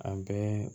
A bɛɛ